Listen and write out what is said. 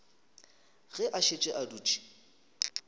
ge a šetše a dutše